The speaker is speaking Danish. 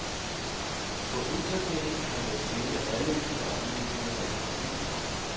På internettet kan man finde alle de oplysninger, man har brug for.